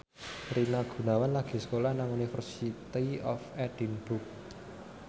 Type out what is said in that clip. Rina Gunawan lagi sekolah nang University of Edinburgh